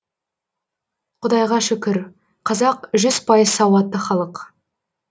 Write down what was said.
құдайға шүкір қазақ жүз пайыз сауатты халық